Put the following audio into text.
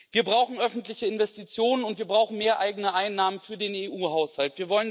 Wir brauchen öffentliche Investitionen, und wir brauchen mehr eigene Einnahmen für den EU Haushalt.